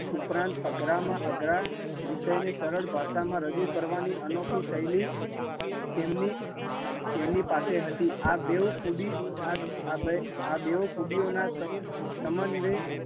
ઉપરાંત અઘરા માં અઘરા વિષય ને સરળ ભાષા માં રજૂ કરવા ની અનોખી શૈલી એમની એમની પાસે હતી, આ બેઉ ખુબી ઓ ના સમન્વય